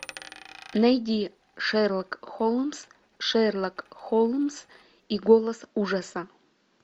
найди шерлок холмс шерлок холмс и голос ужаса